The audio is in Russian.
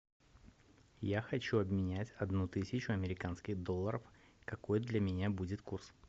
я хочу обменять одну тысячу американских долларов какой для меня будет курс